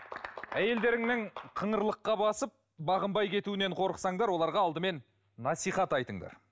әйелдеріңнің қыңырлыққа басып бағынбай кетуінен қорықсаңдар оларға алдымен насихат айтыңдар